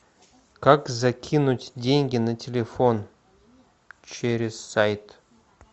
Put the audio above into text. как закинуть деньги на телефон через сайт